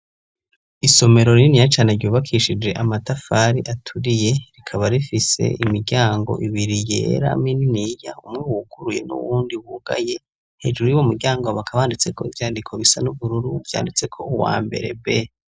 Isomero rininiya cane ryubakishije amatafari aturiye, rikaba rifise imiryango ibiri yera mininiya, umwe wuguruye n'uwundi wugaye; hejuru yuwo muryango bakabanditse ko ivyandiko bisa n'ubururu, vyanditseko uwa mbere B.